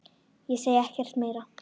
Ég segi ekkert meira.